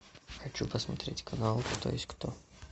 хочу посмотреть канал кто есть кто